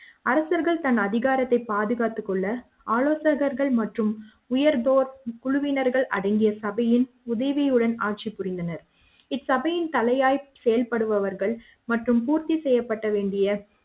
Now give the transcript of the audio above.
அரசர்கள் தன் அதிகாரத்தை பாதுகாத்துக் கொள்ள ஆலோசகர்கள் மற்றும் உயர் குழுவினர்கள் அடங்கிய சபையின் உதவியுடன் ஆட்சி புரிந்தனர் இந்த சபையின் தலையாய் செயல்படுபவர்கள் மற்றும் பூர்த்தி செய்யப்பட வேண்டிய